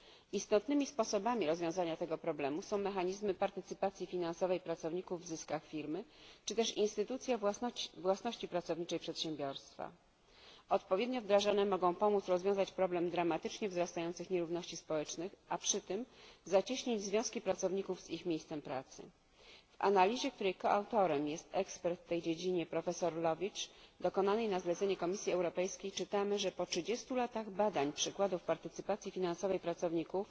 Istotnymi sposobami rozwiązania tego problemu są mechanizmy partycypacji finansowej pracowników w zyskach firmy, czy też instytucja własności pracowniczej przedsiębiorstwa odpowiednio wdrażane mogą pomóc rozwiązać problem dramatycznie wzrastających nierówności społecznych, a przy tym zacieśnić związki pracowników z ich miejscem pracy W analizie, której współautorem jest ekspert w tej dziedzinie profesor Lowitzsch, dokonanej na zlecenie Komisji Europejskiej, czytamy, że po 30 latach badań przykładów partycypacji finansowej pracowników,